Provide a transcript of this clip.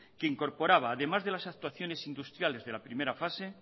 que incorporaba además de las actuaciones industriales de la primera fase